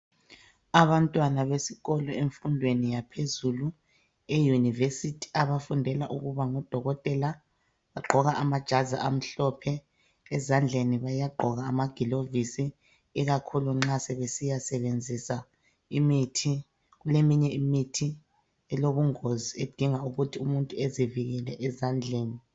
Abantwana besikolo emfundweni yaphezulu, eUniversity abafundela ukuba ngodokotela, bagqoka amajazi amhlophe ezandleni bayagqoka amagilovisi ikakhulu nxa sebesiya sebenzisa imithi, kuleminye imithi elobungozi idinga ukuthi umuntu ezivikele ezandleni.